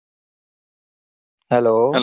Hello